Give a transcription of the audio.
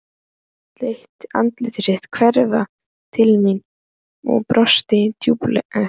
Hún leit annað veifið til mín og brosti dulúðugt.